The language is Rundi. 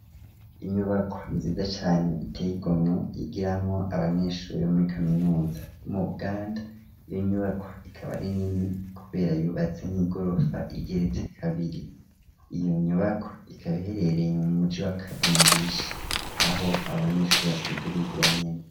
Inyubakwa nziza cane iteye igomwe igiramwo abanyeshure muri kaminuza yo mu Buganda, iyo nyubakwa ikaba ari nini kubera yubatse nk'igorofa igeretse kabiri, iyo nyubakwa ikaba iherereye mu muji wa kavendishe aho abanyeshure basanzwe bigira nyene.